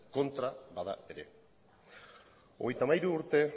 kontra bada ere hogeita hamairu urte